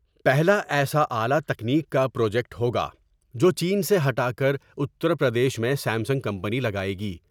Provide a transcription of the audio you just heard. پہلا ایسا اعلی تکنیک کا پروجیکٹ ہوگا ، جو چین سے ہٹا کر اتر پردیش میں سیم سنگ کمپنی لگاۓ گی ۔